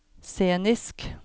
scenisk